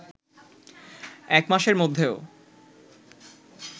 এক মাসের মধ্যেও